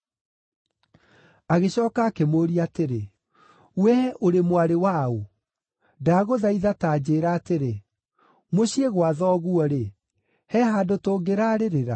Agĩcooka akĩmũũria atĩrĩ, “Wee ũrĩ mwarĩ wa ũ? Ndagũthaitha ta njĩĩra atĩrĩ, mũciĩ gwa thoguo-rĩ, he handũ tũngĩrarĩrĩra?”